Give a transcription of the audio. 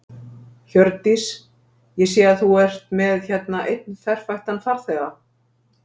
Hjördís: Ég sé að þú ert með hérna einn ferfættan farþega?